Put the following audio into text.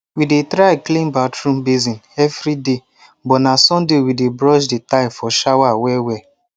we dey try clean bathroom basin evri day but na sunday we dey brush the tile for shower well well